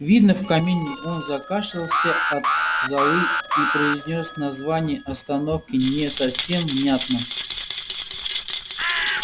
видно в камине он закашлялся от золы и произнёс название остановки не совсем внятно